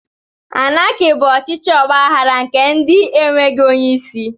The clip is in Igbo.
Anaki bụ ọchịchị ọgbaghara nke ndi e nweghị onye isi